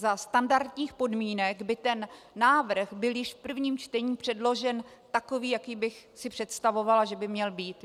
Za standardních podmínek by ten návrh byl již v prvním čtení předložen takový, jaký bych si představovala, že by měl být.